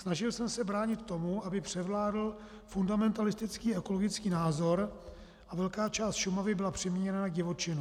Snažil jsem se bránit tomu, aby převládl fundamentalistický ekologický názor a velká část Šumavy byla přeměněna na divočinu.